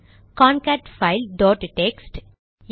concatfile dot text